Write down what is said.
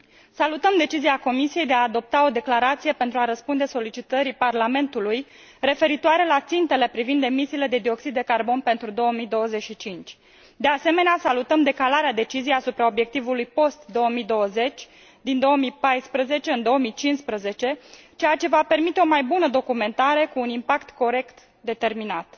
Salutăm decizia Comisiei de a adopta o declarație pentru a răspunde solicitării Parlamentului referitoare la țintele privind emisiile de CO 2 pentru 2025. De asemenea, salutăm decalarea deciziei asupra obiectivului post 2020 din 2014 în 2015, ceea ce va permite o mai bună documentare, cu un impact corect determinat.